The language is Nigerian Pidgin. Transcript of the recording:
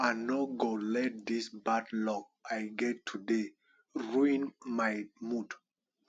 i no go let dis bad luck i get today ruin my mood